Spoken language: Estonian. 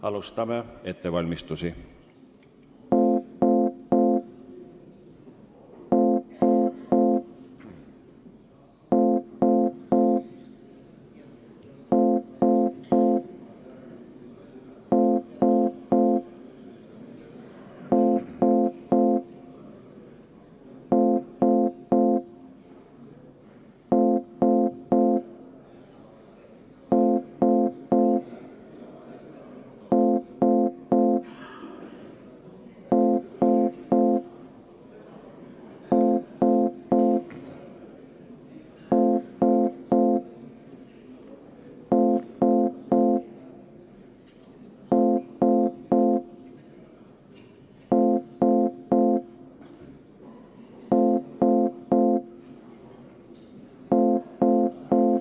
Alustame ettevalmistusi.